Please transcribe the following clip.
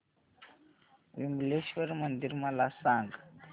विमलेश्वर मंदिर मला सांग